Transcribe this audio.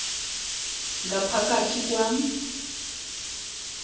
ngapha kathi kwam